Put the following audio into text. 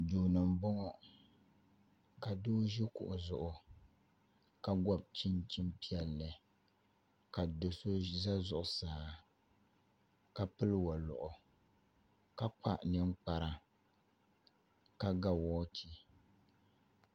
Duu ni n boŋo ka doo ʒi kuɣu zuɣu ka gobi chinchin piɛlli ka do so ʒɛ zuɣusaa ka pili woliɣi ka kpa ninkpara ka ga woochi